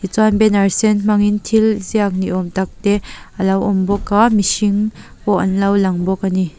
ti chuan banner sen hmang in thil ziak ni awm tak te a lo awm bawk a mihring pawh an lo lang bawk a ni.